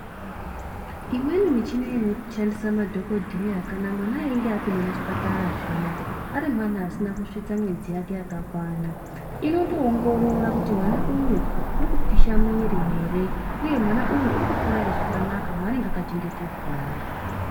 Imweni michina inoshandisa madhokodheya kana mwana einge apinda muchipara zviya arimwana asina kusvika mwedzi yake yakakwana inotoongorora kuti mwana uyu urikupisha muwiri ere uye mwana uyu urikukura zvakanaka ere maanenge akachengetedzwamwo.